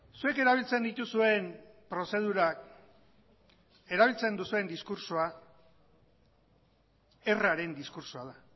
zuek erabiltzen dituzuen prozedurak erabiltzen duzuen diskurtsoa erraren diskurtsoa da